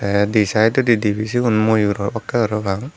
tay di sydodi dibey sigun moyur obakkey parapang.